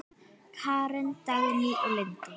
Karen, Dagný og Linda.